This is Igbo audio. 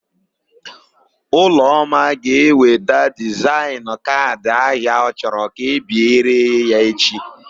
Ụlọma ga-eweta dizaịnụ kaadị ahia ọ chọrọ ka e biere ya echi.